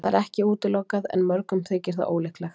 Það er ekki útilokað en mörgum þykir það ólíklegt.